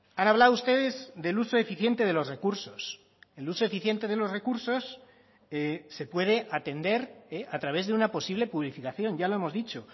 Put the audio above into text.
han hablado ustedes del uso eficiente de los recursos el uso eficiente de los recursos se puede atender a través de una posible publificación ya lo hemos dicho